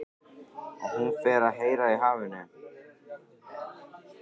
Og hún fer að heyra í hafinu.